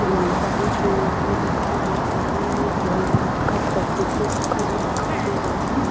बहुत सारी सीढ़ियाँ भी दिखाई दे रही हैं और ये भोलेनाथ का त्रिशूल भी रखा हुआ दिखाई दे रहा है।